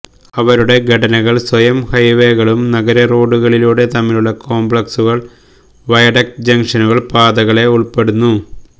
അവരുടെ ഘടന ൽ സ്വയം ഹൈവേകളും നഗര റോഡുകളിലൂടെ തമ്മിലുള്ള കോംപ്ലക്സുകൾ വയഡക്റ്റ് ജംഗ്ഷനുകൾ പാതകളെ ഉൾപ്പെടുന്നു